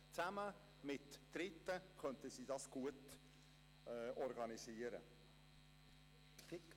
Zusammen mit Dritten könnten sie es gut organisieren.